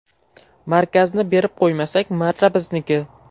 Markazni berib qo‘ymasak, marra bizniki.